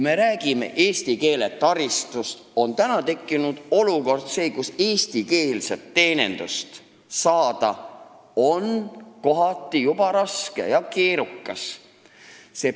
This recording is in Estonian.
Me räägime eesti keele taristust, aga olukord on selline, et eestikeelset teenindust on kohati juba raske ja keerukas saada.